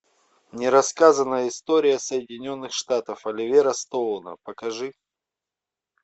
нерассказанная история соединенных штатов оливера стоуна покажи